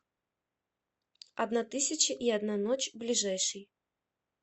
одна тысяча и одна ночь ближайший